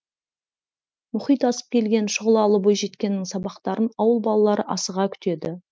мұхит асып келген шұғылалы бойжеткеннің сабақтарын ауыл балалары асыға күтеді